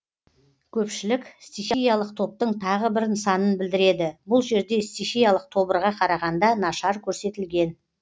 көпшілік стихиялық топтың тағы да бір нысанын білдіреді бұл жерде стихиялық тобырға қарағанда нашар көрсетілген